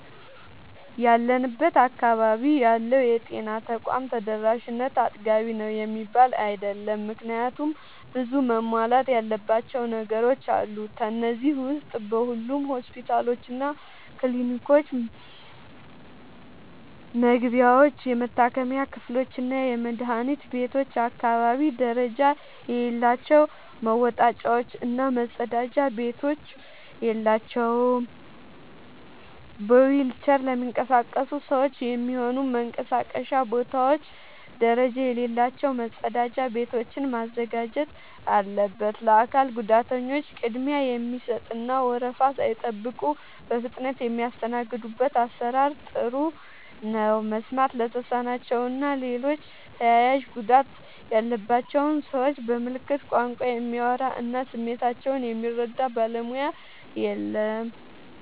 ያለንበት አካባቢ ያለው የጤና ተቋም ተደራሽነት አጥጋቢ ነው የሚባል አይደለም። ምክንያቱም ብዙ መሟላት ያለባቸው ነገሮች አሉ። ከነዚህ ዉስጥ በሁሉም ሆስፒታሎችና ክሊኒኮች መግቢያዎች፣ የመታከሚያ ክፍሎችና የመድኃኒት ቤቶች አካባቢ ደረጃ የሌላቸው መወጣጫዎች እና መጸዳጃ ቤቶች የላቸውም። በዊልቸር ለሚንቀሳቀሱ ሰዎች የሚሆኑ መንቀሳቀሻ ቦታዎች ደረጃ የሌላቸው መጸዳጃ ቤቶችን ማዘጋጀት አለበት። ለአካል ጉዳተኞች ቅድሚያ የሚሰጥ እና ወረፋ ሳይጠብቁ በፍጥነት የሚስተናገዱበት አሰራር ጥሩ ነው። መስማት ለተሳናቸው እና ሌሎች ተያያዥ ጉዳት ያለባቸውን ሰዎች በምልክት ቋንቋ የሚያወራ እና ስሜታቸውን የሚረዳ ባለሙያ የለም።